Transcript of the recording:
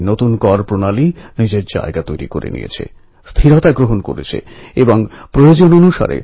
আমার প্রিয় দেশবাসী আগষ্ট মাস ইতিহাসের অনেক ঘটনা উৎসবের ঘটনাপ্রবাহে ভরা